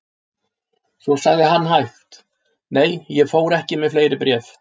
Svo sagði hann hægt: Nei, ég fór ekki með fleiri bréf.